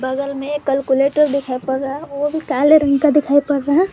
बगल में एक कैलकुलेटर दिखाई पड़ रहा वो भी काले रंग का दिखाई पड़ रहा--